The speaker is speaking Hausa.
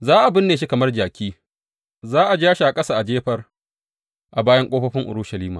Za a binne shi kamar jaki za a ja shi a ƙasa a jefar a bayan ƙofofin Urushalima.